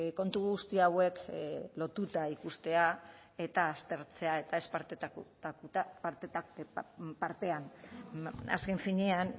kontu guzti hauek lotuta ikustea eta aztertzea eta ez partean azken finean